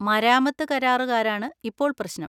മരാമത്ത് കരാറുകാരാണ് ഇപ്പോൾ പ്രശ്നം.